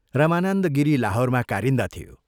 रमानन्द गिरी लाहोरमा कारिन्दा थियो।